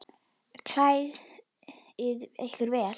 Klæðið ykkur vel.